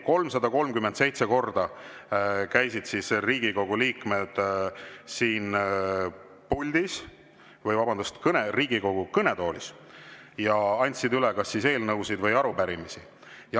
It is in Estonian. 337 korda käisid Riigikogu liikmed siin puldis – vabandust, Riigikogu kõnetoolis – ja andsid üle kas eelnõusid või arupärimisi.